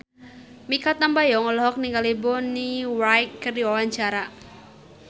Mikha Tambayong olohok ningali Bonnie Wright keur diwawancara